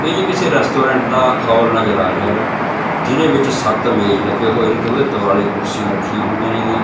ਇਹ ਜੀ ਕਿਸੇ ਰੈਸਟੋਰੈਂਟ ਦਾ ਹਾਲ ਨਜ਼ਰ ਆ ਰਿਹਾ ਹੈਗਾ ਜਿਹਦੇ ਵਿੱਚ ਸੱਤ ਮੇਜ ਲੱਗੇ ਹੋਏ ਨੇ ਤੇ ਉਹਦੇ ਦੁਵਾਲੇ ਕੁਰਸੀਆਂ ਰੱਖੀਆਂ ਹੋਈਆਂ ਨੇ ਗੀਆਂ।